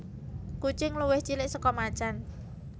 Kucing luwih cilik saka macan